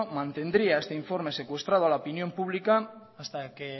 mantendría este informe secuestrado a la opinión pública hasta que